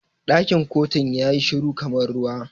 Ɗakin kotun yayi shiru kamar ruwa.